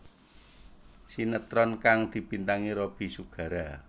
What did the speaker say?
Sinetron kang dibintangi Robby Sugara